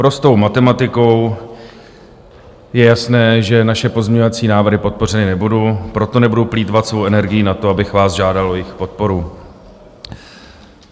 Prostou matematikou je jasné, že naše pozměňovací návrhy podpořeny nebudou, proto nebudu plýtvat svou energií na to, abych vás žádal o jejich podporu.